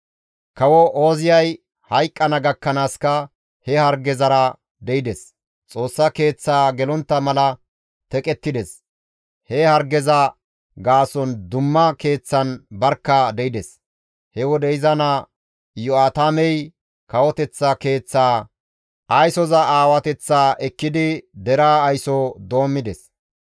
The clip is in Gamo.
Kawo Ooziyay hayqqana gakkanaaska he hargezara de7ides; Xoossa keeththaa gelontta mala teqettides; he hargeza gaason dumma keeththan barkka de7ides; he wode iza naa Iyo7aatamey kawoteththa keeththaa aysoza aawateththaa ekkidi deraa ayso doommides.